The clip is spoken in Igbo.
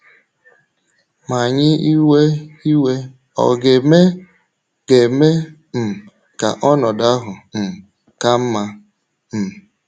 Ma anyị iwe iwe ọ̀ ga - eme ga - eme um ka ọnọdụ ahụ um ka mma? um